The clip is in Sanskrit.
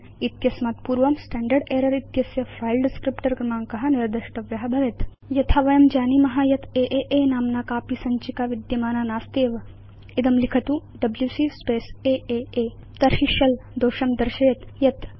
वा इत्यस्मात् पूर्वं स्टैण्डर्ड् एरर् इत्यस्य फिले डिस्क्रिप्टर क्रमाङ्क निर्देष्टव्य भवेत् यथा वयं जानीम यत् आ नाम्ना कापि सञ्चिका विद्यमाना नास्त्येव इदं लिखतु डब्ल्यूसी स्पेस् आ तर्हि शेल दोषं दर्शयेत् यत् no such file or directory